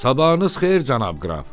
Sabahınız xeyir cənab qraf!